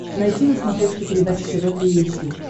найти на смотрешке передачу тв три эйч ди